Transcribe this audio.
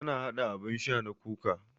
Ta haɗa abun sha na kuka